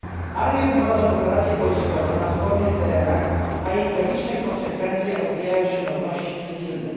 Armie prowadzą operacje wojskowe na spornych terenach, a ich tragiczne konsekwencje odbijają się na ludności cywilnej.